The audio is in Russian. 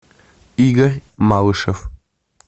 игорь малышев